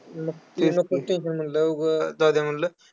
मग ते नको ते tension म्हटलं, उगा जाऊ दे म्हटलं.